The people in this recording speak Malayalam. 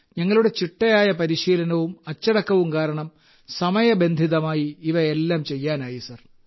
ഞങ്ങളുടെ ചിട്ടയായ പരിശീലനവും അച്ചടക്കവും കാരണം സമയബന്ധിതമായി ഇവയെല്ലാം ചെയ്യാനായി സർ